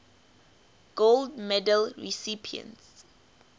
gold medal recipients